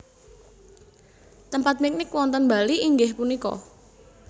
Tempat piknik wonten Bali inggih punika?